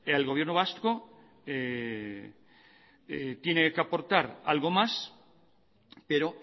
el gobierno vasco tiene que aportar algo más pero